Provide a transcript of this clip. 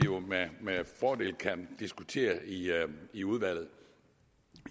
med fordel kan diskutere i i udvalget